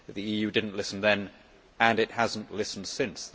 The EU did not listen then and it has not listened since.